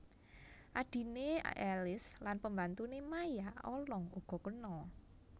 Adhiné Alice lan pembantuné Maya Olong uga kena